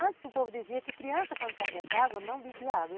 Antes o povo dizia que criança, quando cai dentro d'água, não bebia água.